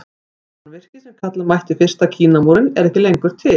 Þetta mannvirki sem kalla mætti fyrsta Kínamúrinn er ekki lengur til.